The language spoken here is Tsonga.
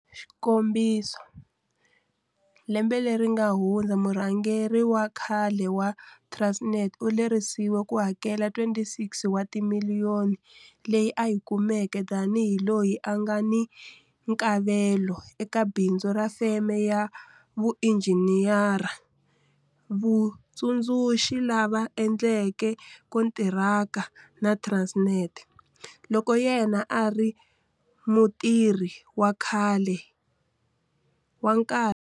Xikombiso, lembe leri nga hundza murhangeri wa khale wa Transnet u lerisiwe ku hakela R26 wa timiliyoni leyi a yi kumeke tanihi loyi a nga ni nkavelo eka bindzu ra feme ya vuinjhiniyere vutsundzuxa lava endleke kontiraka na Transnet loko yena a ri mutirhi wa nkarhi.